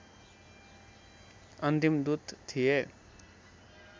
अन्तिम दूत थिए